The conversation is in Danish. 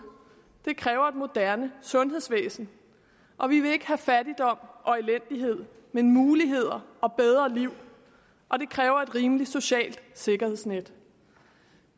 det kræver et moderne sundhedsvæsen og vi vil ikke have fattigdom og elendighed men muligheder og bedre liv og det kræver et rimeligt socialt sikkerhedsnet